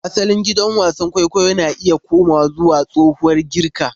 Asalin gidan wasan kwaikwayo na iya komawa zuwa tsohuwar Girka.